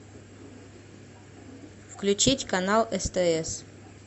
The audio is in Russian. включить канал стс